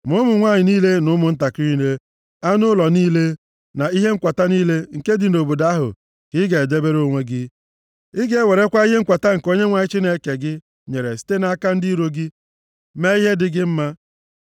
Ma ụmụ nwanyị niile na ụmụntakịrị niile, anụ ụlọ niile na ihe nkwata niile nke ndị obodo ahụ ka ị ga-edebere onwe gị. Ị ga-ewerekwa ihe nkwata nke Onyenwe anyị Chineke gị nyere site nʼaka ndị iro gị mee ihe dị gị mma.